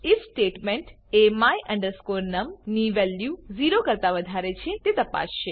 if statement એ my num ની value 0 કરતા વધારે છે તે તપાસશે